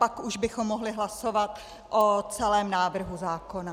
Pak už bychom mohli hlasovat o celém návrhu zákona.